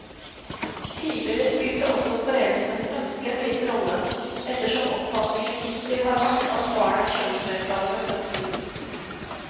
Tidligere spilte også foreldrenes ønske en viss rolle, ettersom oppfatningen hittil har vært at barn er kjønnsnøytrale ved fødselen.